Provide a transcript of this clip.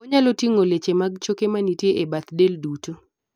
onyalo ting'o leche mag choke manitie e bath del duto